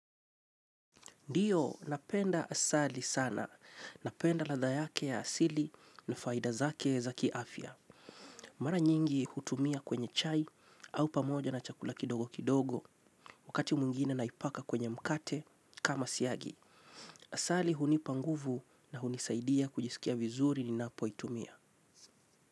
Ndiyo napenda asali sana, napenda ladha yake ya asili na faida zake za kiafya. Mara nyingi hutumia kwenye chai au pamoja na chakula kidogo kidogo wakati mwingine naipaka kwenye mkate kama siagi. Asali hunipanguvu na hunisaidia kujisikia vizuri ni napo itumia.